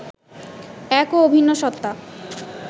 এক ও অভিন্ন সত্তা